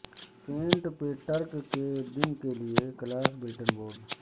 Saint Patrick کے دن کے لئے کلاس بلٹنن بورڈ